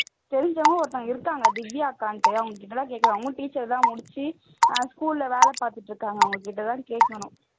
தெரிஞ்சவங்க ஒருத்தங்க இருக்கிறாங்க திவ்யாக்கான்ட்டு அவங்ககிட்டனா கேக்கலாம் அவங்க teacher தான் முடிச்சி school ல வேலை பாத்துட்டு இருக்காங்க அவங்ககிட்ட தான் கேக்கணும்